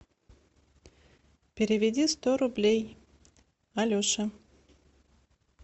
переведи сто рублей алеше